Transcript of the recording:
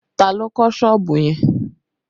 Ta ló kọ́ sọ́ọ̀bù yẹn?